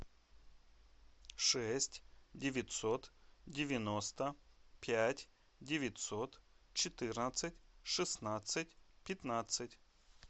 шесть девятьсот девяносто пять девятьсот четырнадцать шестнадцать пятнадцать